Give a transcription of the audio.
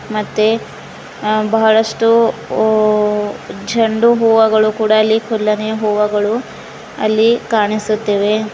ಮತ್ತೆ ಅ ಬಹಳಷ್ಟು ಹೋ ಚಂಡು ಹೂವಗಳು ಕೂಡ ಅಲ್ಲಿ ಕುಲ್ಲನೆ ಹೂವಗಳು ಅಲ್ಲಿ ಕಾಣಿಸುತ್ತಿವೆ.